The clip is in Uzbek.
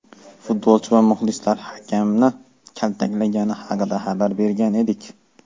futbolchi va muxlislar hakamni kaltaklagani haqida xabar bergan edik.